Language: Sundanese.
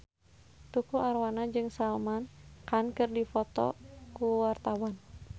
Tukul Arwana jeung Salman Khan keur dipoto ku wartawan